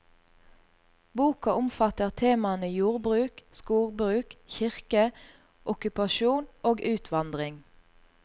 Boka omfatter temaene jordbruk, skogbruk, kirke, okkupasjon og utvandring.